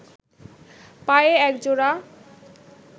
পায়ে এক জোড়া